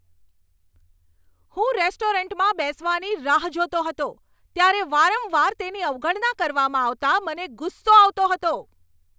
હું રેસ્ટોરન્ટમાં બેસવાની રાહ જોતો હતો ત્યારે વારંવાર તેની અવગણના કરવામાં આવતા મને ગુસ્સો આવતો હતો.